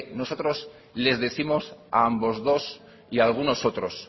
nosotros les décimos a ambos dos y a algunos otros